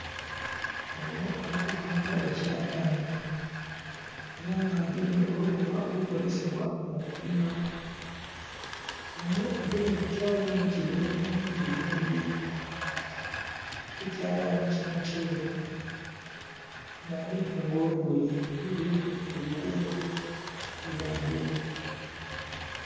Ono alikutunga ekyalani era nga agemye olukoba olukozesebwa mukupima. Ono agemye kukyalani kino n'emikono gye gyombi era ekyalani kino kyeru nga alitinga olugoye olulimu ebikubo byabbulu.